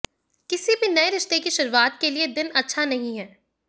किसी भी नए रिश्ते की शुरुआत के लिए दिन अच्छा नहीं है